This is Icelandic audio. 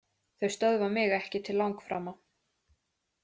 Þau stöðva mig ekki til langframa.